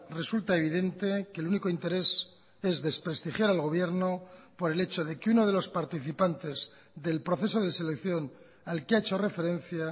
resulta evidente que el único interés es desprestigiar al gobierno por el hecho de que uno de los participantes del proceso de selección al que ha hecho referencia